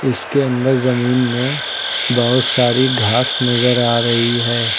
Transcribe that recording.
इसके अंदर जमीन में बहुत सारी घास नजर आ रही है।